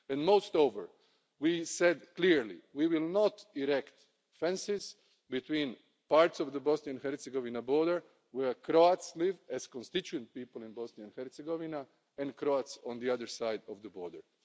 Moreover we said clearly we will not erect fences between parts of the Bosnian Herzegovina border where Croats live as constituent people in Bosnia and Herzegovina and Croats on the other side of the border.